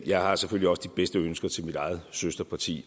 jeg har selvfølgelig også de bedste ønsker til mit eget søsterparti